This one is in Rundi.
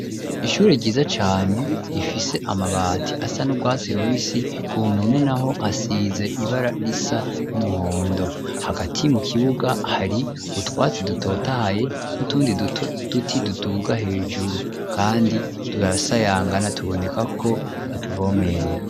Ishure ryiza cane rifise amabati asa n'urwatsi rubisi ku mpome naho hasize ibara risa n'umuhondo hagati mu kibuga hari utwatsi dutotahaye n'utundi tuti tuduga hejuru kandi turasayangana tuboneka ko batuvomerera.